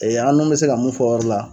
Ɛ an n'u be se ka mun fɔ o yɔrɔ la